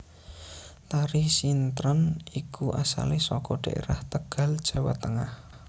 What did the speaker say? Tari sintren iku asale saka dhaerah Tegal Jawa Tengah